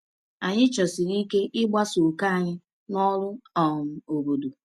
Anyị chọsiri ike ịgbasa òkè anyị n’ọrụ um obodo.